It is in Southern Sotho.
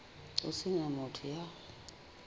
ho se na motho ya